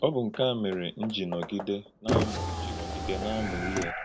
Ọ̀ bụ́ nke a mere m jì nọ́gidè na-amụ́ jì nọ́gidè na-amụ́ íhè.